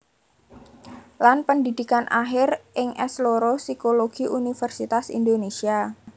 Lan pendhidhikan akhir ing S loro Psikologi Universitas Indonesia